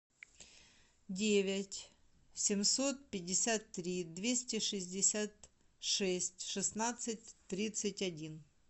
девять семьсот пятьдесят три двести шестьдесят шесть шестнадцать тридцать один